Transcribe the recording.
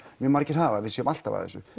margir hafa að við séum alltaf að þessu